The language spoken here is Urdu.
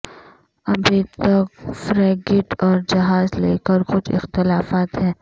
ابھی تک فریگیٹ اور جہاز لکیر کچھ اختلافات ہیں